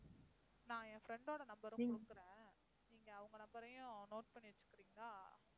நான் என் friend ஓட number உம் கொடுக்கிறேன். நீங்க அவங்க number ஐயும் note பண்ணி வச்சுக்கிறீங்களா